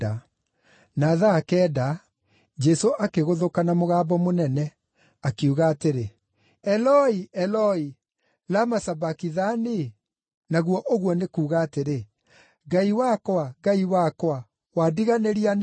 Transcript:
Na thaa kenda Jesũ akĩgũthũka na mũgambo mũnene, akiuga atĩrĩ, “Eloi, Eloi, lama sabakithani?” naguo ũguo nĩ kuuga atĩrĩ, “Ngai wakwa, Ngai wakwa, wandiganĩria nĩkĩ?”